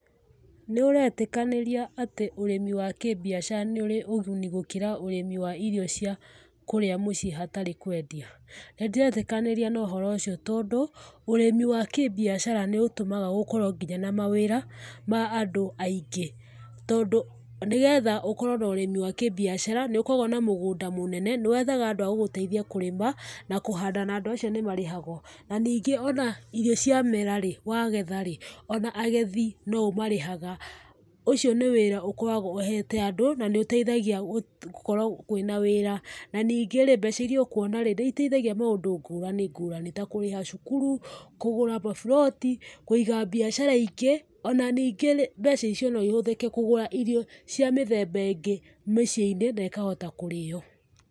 Nĩũretĩkanĩria atĩ ũrĩmi wa kĩbiacara nĩ ũrĩ ũguni gũkĩra ũrĩmi wa irio cia kũrĩa mũciĩ hatarĩ kwendia? Nĩndĩretĩkania na ũhoro ũcio tondũ, ũrĩmi wa kĩbiacara nĩũtũmaga gũkorwo nginya na mawĩra, ma andũ aingĩ. Tondũ nĩgetha ũkorwo na ũrĩmi wa kĩbiacara, nĩũkoragwo na mũgũnda mũnene, nĩwethaga andũ a gũgũteithia kũrĩma, na kũhanda na andũ acio nĩ marĩhagwo. Na ningĩ o na irio ciamera, wagetha-rĩ,o na agethi no ũmarĩhaga. ũcio nĩ wĩra ũkoragwo ũhete andũ na nĩũteithagia gũkorwo kwĩna wĩra. Na ningĩ mbeca iria ũkuona, nĩiteithagia maũndũ ngũrani ngũrani ta kũrĩha cukuru, kũgũra maburoti, kũiga biacara ingĩ, o na ningĩ mbeca icio no ihũthĩke kũgũra irio cia mĩthemba ĩngĩ mĩciĩ-inĩ na ĩkahota kũrĩo.